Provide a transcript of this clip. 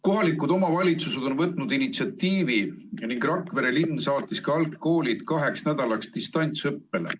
Kohalikud omavalitsused on haaranud initsiatiivi ning Rakvere linn saatis ka algklassid kaheks nädalaks distantsõppele.